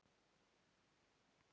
Að gefa upp öndina